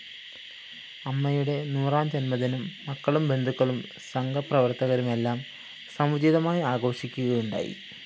അമ്മയുടെ നൂറാം ജന്മദിനം മക്കളും ബന്ധുക്കളും സംഘപ്രവര്‍ത്തകരുമെല്ലാം സമുചിതമായി ആഘോഷിക്കുകയുണ്ടായി